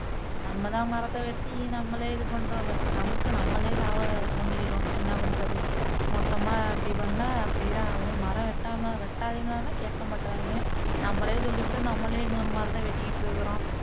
நம்ம தான் மரத்தை வெட்டி நம்மளே இது பண்றோமே, நமக்கு நம்மளே சாவ தோண்டிக்கிறோம் என்ன பண்றது மொத்தமா இப்படி பண்ணா இப்படி தான் ஆகும் மரம் வெட்டாம வெட்டாதீங்கன்னா கேக்கமாட்றாங்க நம்மளே சொல்லிபுட்டு நம்ம்ளே இன்னொரு மரத்தை வெட்டிக்கிட்டு இருக்குறோம்